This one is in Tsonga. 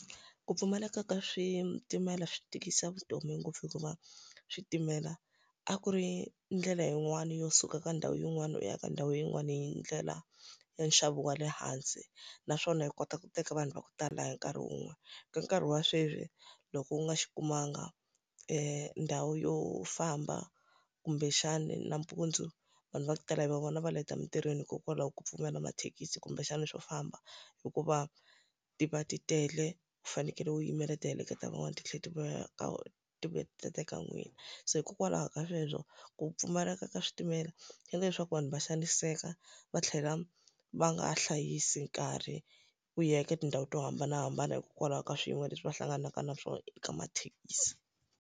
Ku pfumaleka ka switimela swi tikisa vutomi ngopfu hikuva, switimela a ku ri ndlela yin'wani yo suka ka ndhawu yin'wana u ya ka ndhawu yin'wana yi ndlela ya nxavo wa le hansi naswona yi kota ku teka vanhu va ku tala hi nkarhi wun'we. Ka nkarhi wa sweswi, loko u nga xi kumanga ndhawu yo famba kumbexana nampundzu, vanhu va ku tala hi vona va leta emintirhweni hikokwalaho ka ku pfumala mathekisi kumbexana swo famba. Hikuva ti va ti tele, u fanekele u yimela ti heleketa van'wana ti tlhela ti vuya ka ti vuya ti ta teka n'wina. Se hikokwalaho ka sweswo, ku pfumaleka ka switimela swi endla leswaku vanhu va xaniseka, va tlhela va nga ha hlayisa nkarhi ku ya eka tindhawu to hambanahambana hikwalaho ka swiyimo leswi va hlanganaka na swona eka mathekisi.